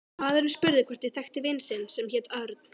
Maðurinn spurði hvort ég þekkti vin sinn sem héti Örn